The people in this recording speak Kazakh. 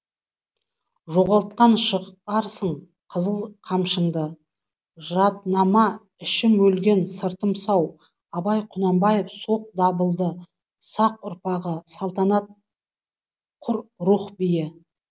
жоғалтқан шығарсың қызыл қамшыңды жаднама ішім өлген сыртым сау абай құнанбаев соқ дабылды сақ ұрпағы салтанат құр рух биі